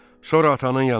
Sonra atanın yanına get.